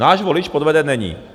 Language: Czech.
Náš volič podveden není.